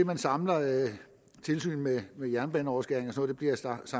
man samler tilsyn med jernbaneoverskæringer